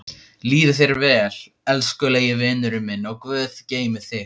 Líði þér vel, elskulegi vinurinn minn og guð geymi þig.